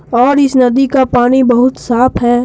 और इस नदी का पानी बहुत साफ है।